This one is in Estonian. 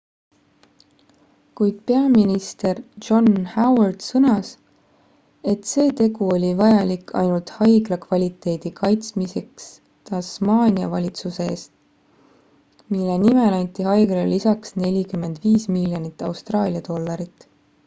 kuid peaminister john howard sõnas et see tegu oli vajalik ainult haigla kvaliteedi kaitsemiseks tasmaania valitsuse eest mille nimel anti haiglale lisaks 45 miljonit austraalia dollarit